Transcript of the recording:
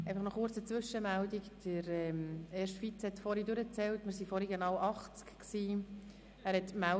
Nocheine kurze Zwischenmeldung: Der erste Vizepräsident hat vorhin die anwesenden Ratsmitglieder gezählt und ist auf genau 80 gekommen.